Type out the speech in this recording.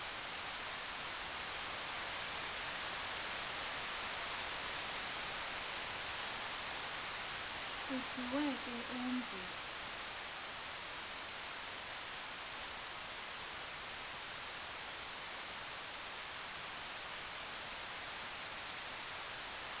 kuthiwe ke umzi